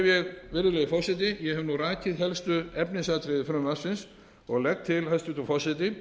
ég hef nú rakið helstu efnisatriði frumvarpsins og legg til hæstvirtur forseti